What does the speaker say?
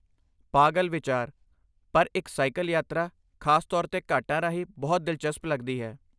ਪਾਗਲ ਵਿਚਾਰ, ਪਰ ਇੱਕ ਸਾਈਕਲ ਯਾਤਰਾ, ਖਾਸ ਤੌਰ 'ਤੇ ਘਾਟਾਂ ਰਾਹੀਂ ਬਹੁਤ ਦਿਲਚਸਪ ਲੱਗਦੀ ਹੈ।